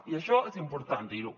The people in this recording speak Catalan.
i això és important dir ho